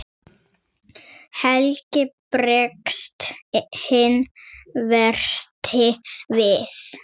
Helgi bregst hinn versti við.